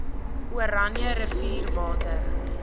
oranje rivier water